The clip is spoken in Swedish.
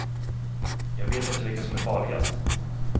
Jag vet inte vilket som är farligast.